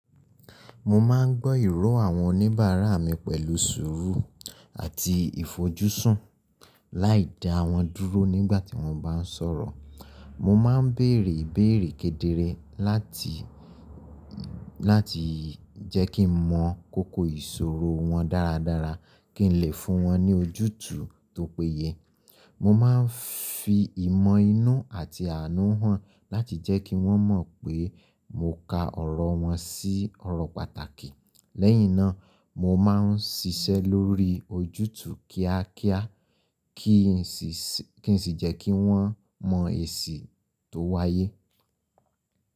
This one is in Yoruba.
Mo máa ń gbọ́ ìrò àwọn oníbàárà mi pẹ̀lú sùúrù àti ìfojúsùn, láìdá wọn dúró nígbà tí wọ́n bá ń sọ̀rọ̀. Mo máa ń béèrè ìbéèrè kedere láti, láti jẹ́ kí n mọ kókó ìṣòrò wọn dáradára kí ń lè fún wọn ní ojútù tu topéye. Mo máa ń fi ìmọ̀ inú àti àánú hàn láti jẹ́ kí wọ́n mọ̀ pé mo ka ọ̀rò wọ́n sí ọ̀rọ̀ pàtàkì. Lẹ́yìn náà, mo máa ń ṣiṣẹ́ lórí ojútù kíákíá kí n sì jẹ́ kí wọ́n mọ̀ èsì tó wáyé.